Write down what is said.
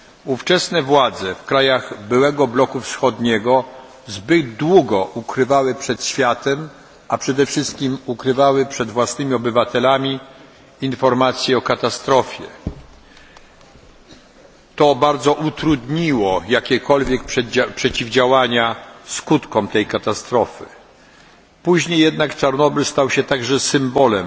Ówczesne władze krajów byłego bloku wschodniego zbyt długo ukrywały przed światem, a przede wszystkim przed własnymi obywatelami, informacje o katastrofie. Bardzo to utrudniło jakiekolwiek działania zapobiegające skutkom tej katastrofy. Później jednak Czarnobyl stał się symbolem